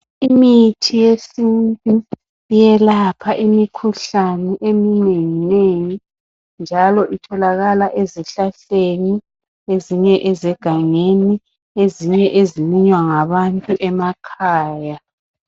Imithi yesintu iyelapha imikhuhlane eminenginengi njalo itholakala ezihlahleni ezinye ezegangeni ezinye ezilinywa ngabantu emakhaya.